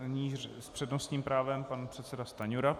Nyní s přednostním právem pan předseda Stanjura.